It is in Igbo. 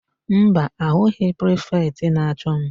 Mba, ahụghị prifetị na-achọ m.